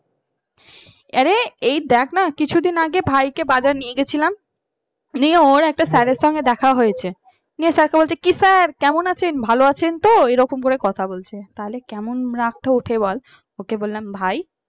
আরে এই দেখ না কিছুদিন আগে ভাইকে বাজার নিয়ে গেছিলাম নিয়ে ওর একটা sir এর সাথে দেখা হয়েছিল দিয়ে sir এর বলছে কিসের কেমন আছেন ভালো আছেন তো? এরকম করে কথা বলছে তাহলে কেমন রাগটা উঠে বল ওকে বললাম ভাই